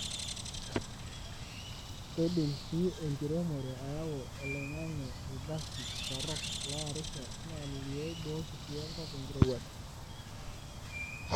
keidim si enkiremore ayau oloingange ilgasi torok loarisho na lioibooki si enkop enkirowuaj